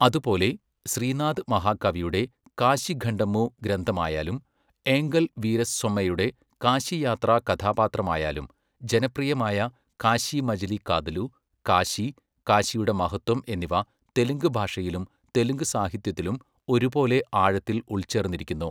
അതുപോലെ, ശ്രീനാഥ് മഹാകവിയുടെ കാശിഖണ്ഡമു ഗ്രന്ഥമായാലും, ഏങ്കൽ വീരസ്വമയ്യുടെ കാശി യാത്രാ കഥാപാത്രമായാലും, ജനപ്രിയമായ കാശി മജിലി കാതലു, കാശി, കാശിയുടെ മഹത്വം എന്നിവ തെലുങ്ക് ഭാഷയിലും തെലുങ്ക് സാഹിത്യത്തിലും ഒരുപോലെ ആഴത്തിൽ ഉൾച്ചേർന്നിരിക്കുന്നു.